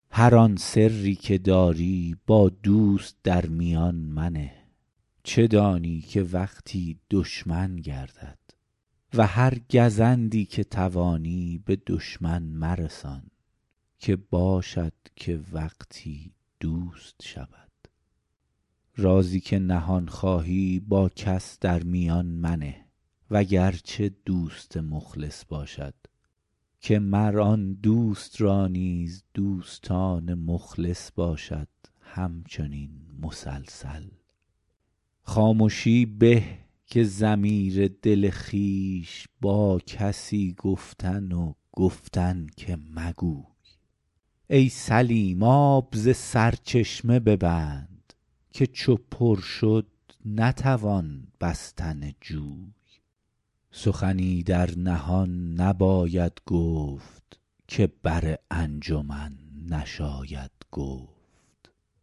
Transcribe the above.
هر آن سری که در سر داری با دوست در میان منه چه دانی که وقتی دشمن گردد و هر گزندی که توانی به دشمن مرسان که باشد که وقتی دوست شود رازی که نهان خواهی با کس در میان منه وگرچه دوست مخلص باشد که مر آن دوست را نیز دوستان مخلص باشد همچنین مسلسل خامشی به که ضمیر دل خویش با کسی گفتن و گفتن که مگوی ای سلیم آب ز سرچشمه ببند که چو پر شد نتوان بستن جوی سخنی در نهان نباید گفت که بر انجمن نشاید گفت